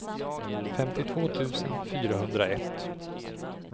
femtiotvå tusen fyrahundraett